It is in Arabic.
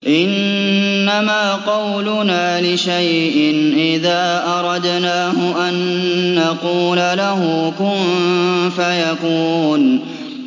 إِنَّمَا قَوْلُنَا لِشَيْءٍ إِذَا أَرَدْنَاهُ أَن نَّقُولَ لَهُ كُن فَيَكُونُ